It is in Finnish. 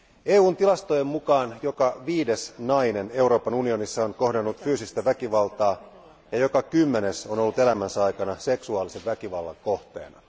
EUn tilastojen mukaan joka viides nainen Euroopan unionissa on kohdannut fyysistä väkivaltaa ja joka kymmenes on ollut elämänsä aikana seksuaalisen väkivallan kohteena.